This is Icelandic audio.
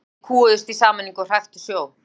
Mennirnir kúguðust í sameiningu og hræktu sjó.